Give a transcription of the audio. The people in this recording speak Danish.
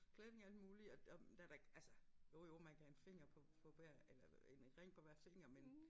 Klæder alt muligt og og der da altså jo jo man kan have en finger på på hver eller øh en ring på hver finger men